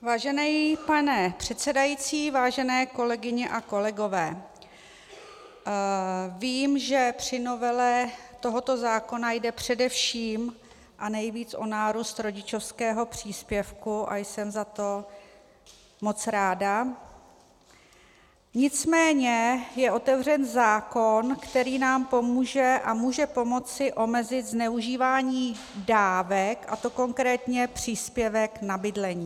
Vážený pane předsedající, vážené kolegyně a kolegové, vím, že při novele tohoto zákona jde především a nejvíc o nárůst rodičovského příspěvku, a jsem za to moc ráda, nicméně je otevřen zákon, který nám pomůže a může pomoci omezit zneužívání dávek, a to konkrétně příspěvku na bydlení.